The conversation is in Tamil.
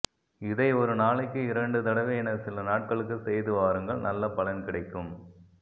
இதை ஒரு நாளைக்கு இரண்டு தடவை என சில நாட்களுக்கு செய்து வாருங்கள் நல்ல பலன் கிடைக்கும்